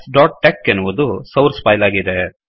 mathsಟೆಕ್ ಎನ್ನುವುದು source file ಆಗಿದೆ